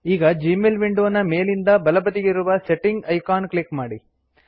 ಈಗ Gmail window ನ ಮೇಲಿಂದ ಬಲಬದಿಗಿರುವ ಸೆಟ್ಟಿಂಗ್ ಐಕಾನ್ ಕ್ಲಿಕ್ ಮಾಡಿ